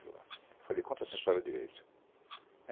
Eu falei, conta essa história direito.